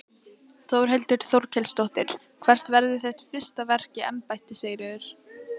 Þórhildur Þorkelsdóttir: Hvert verður þitt fyrsta verk í embætti Sigríður?